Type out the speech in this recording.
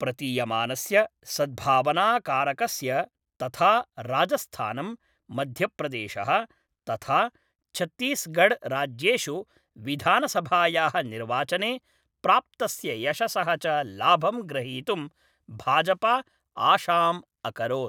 प्रतीयमानस्य सद्भावनाकारकस्य तथा राजस्थानम्, मध्यप्रदेशः तथा छत्तीसगढ़ राज्येषु विधानसभायाः निर्वाचने प्राप्तस्य यशसः च लाभं ग्रहीतुं भाजप आशाम् अकरोत्।